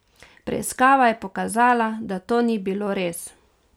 Preiskava je pokazala, da to ni bilo res.